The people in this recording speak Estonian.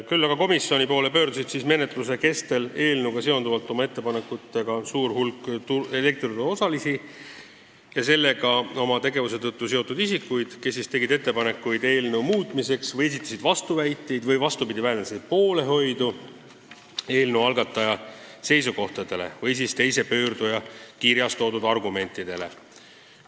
Küll pöördus menetluse kestel komisjoni poole suur hulk elektrituruosalisi ja selle turuga oma tegevuse tõttu seotud isikuid, kes tegid ettepanekuid eelnõu muutmiseks või esitasid vastuväiteid või hoopis väljendasid poolehoidu eelnõu algataja seisukohtadele või mõne teise pöörduja kirjas toodud argumentidele.